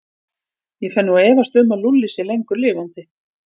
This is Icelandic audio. Ég fer nú að efast um að Lúlli sé lengur lifandi.